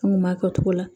An kun b'a kɛ cogo la